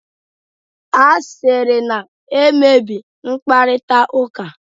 asịrị na-emebi mkparịta ụka